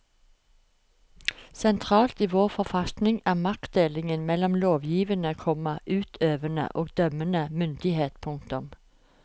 Sentralt i vår forfatning er maktdelingen mellom lovgivende, komma utøvende og dømmende myndighet. punktum